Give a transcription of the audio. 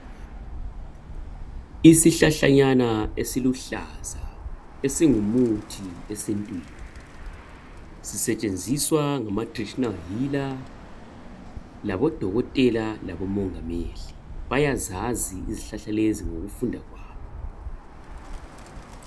Isihlahlanyana esiluhlaza esingumuthi esintwini sitshenziswa ngamatraditional healer labodokotela labomongameli bayazazi izihlahla lezi ngokufunda kwabo.